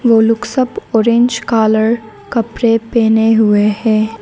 वो लोग सब ऑरेंज कालर कपड़े पहने हुए हैं।